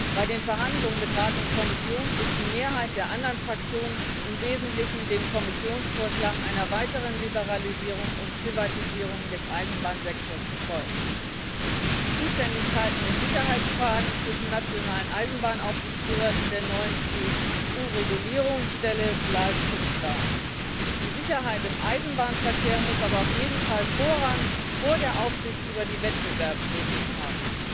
Bei den Verhandlungen mit Rat und Kommission ist die Mehrheit der anderen Fraktionen im Wesentlichen dem Kommissionsvorschlag einer weiteren Liberalisierung und Privatisierung des Eisenbahnsektors gefolgt. Die Zuständigkeiten in Sicherheitsfragen zwischen nationalen Eisenbahnaufsichtsbehörden und der neuen EU Regulierungsstelle bleiben unklar. Die Sicherheit im Eisenbahnverkehr muss aber auf jeden Fall Vorrang vor der Aufsicht über die Wettbewerbsregeln haben.